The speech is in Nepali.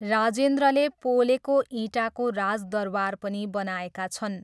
राजेन्द्रले पोलेको इँटाको राजदरबार पनि बनाएका छन्।